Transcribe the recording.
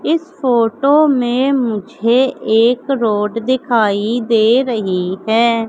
इस फोटो में मुझे एक रोड दिखाई दे रही है।